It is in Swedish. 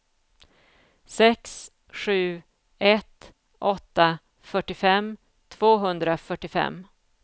sex sju ett åtta fyrtiofem tvåhundrafyrtiofem